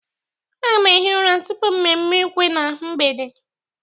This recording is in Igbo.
Aga m ehi Ura tupu mmemme ukwe na mgbede